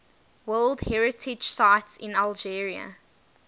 world heritage sites in algeria